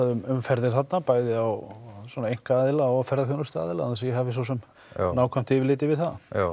um ferðir þarna bæði á einkaaðila og ferðaþjónustuaðila án þess að ég hafi svosem nákvæmt yfirlit yfir það já